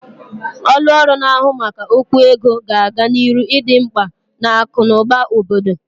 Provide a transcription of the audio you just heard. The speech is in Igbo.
Ọlụ ọrụ na-ahu maka okwu ego ga-aga n'iru idi mgba n'akụ na ụba obodo.